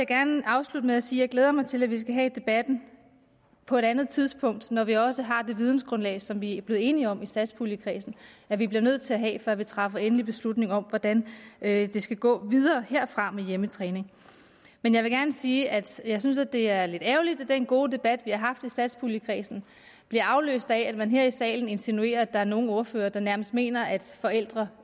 gerne afslutte med at sige at jeg glæder mig til at vi skal have debatten på et andet tidspunkt når vi også har det videngrundlag som vi er blevet enige om i satspuljekredsen at vi bliver nødt til at have før vi træffer endelig beslutning om hvordan det skal gå videre herfra med hjemmetræning men jeg vil gerne sige at jeg synes det er lidt ærgerligt at den gode debat vi har haft i satspuljekredsen bliver afløst af at man her i salen insinuerer at der er nogle ordførere der nærmest mener at forældre